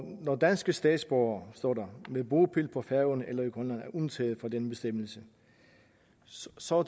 danske statsborgere som står med bopæl på færøerne eller i grønland er undtaget fra denne bestemmelse så